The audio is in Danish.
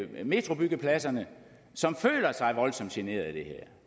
metrobyggepladserne som føler sig voldsomt generet af det her